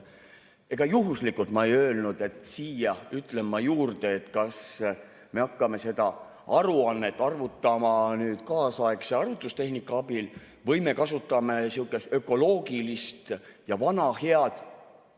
Ega ma ei öelnud juhuslikult, et siia ütlen ma juurde, et kas me hakkame seda aruannet arvutama kaasaegse arvutustehnika abil või me kasutame sihukest ökoloogilist ja vana head puust lükatit.